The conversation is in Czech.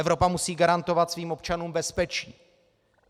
Evropa musí garantovat svým občanům bezpečí.